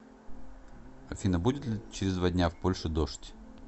афина будет ли через два дня в польше дождь